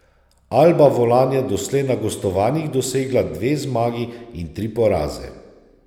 Alba Volan je doslej na gostovanjih dosegla dve zmagi in tri poraze.